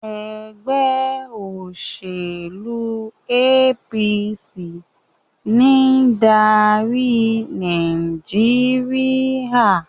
ègbé òṣèlú APC ní ń dárí Nàìjíríà.